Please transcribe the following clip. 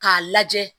K'a lajɛ